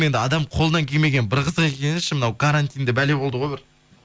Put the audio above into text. енді адамның қолынан келмегені бір қызық екен ше мынау карантин де бәле болды ғой бір